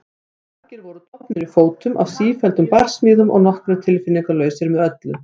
Margir voru dofnir í fótum af sífelldum barsmíðum og nokkrir tilfinningalausir með öllu.